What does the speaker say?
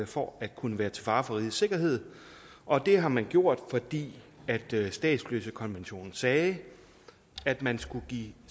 for at kunne være til fare for rigets sikkerhed og det har man gjort fordi statsløsekonventionen sagde at man skulle give